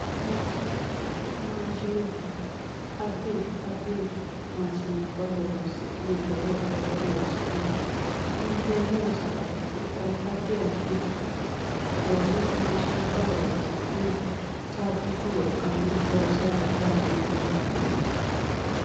Maashinubba, addi addi maashinubba horonsi'ne lowo coyibba loosi'neemmo inteemmo sagale ikko addi addi looso maashinubba horonsi'ne caabbichu wolqanni loosira dandiineemmo